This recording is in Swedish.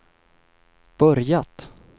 börjat